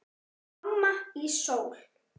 Amma í Sól.